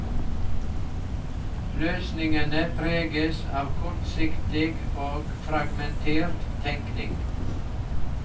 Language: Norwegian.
Løsningene preges av kortsiktig og fragmentert tenkning.